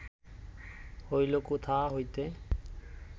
হইল কোথা হইতে